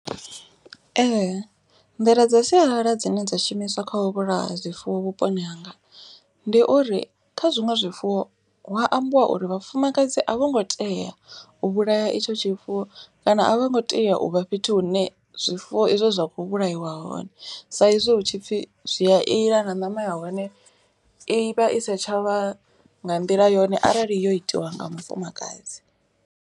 Ee nḓila dza sialala dzine dza shumiswa kha u vhulaya zwifuwo vhuponi hanga. Ndi uri kha zwiṅwe zwifuwo hu wa ambiwa uri vhafumakadzi a vho ngo tea u vhulaya itsho tshifuwo. Kana a vho ngo tea uvha fhethu hune zwifuwo izwo zwa kho vhulaiwa hone. Sa izwi hu tshipfi zwi a ila na ṋama ya hone i vha i sa tshavha nga nḓila yone arali yo itiwa nga mufumakadzi.